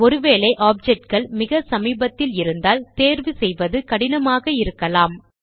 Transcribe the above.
ஒரு வேளை ஆப்ஜெக்ட் கள் மிகச்சமீபத்தில் இருந்தால் தேர்வு செய்வது கடினமாக இருக்கலாம்